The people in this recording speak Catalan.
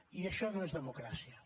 i això no és democràcia